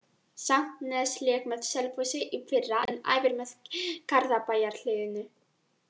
Sandnes lék með Selfossi í fyrra en æfir með Garðabæjarliðinu.